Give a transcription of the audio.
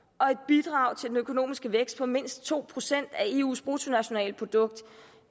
og et bidrag til den økonomiske vækst på mindst to procent af eus bruttonationalprodukt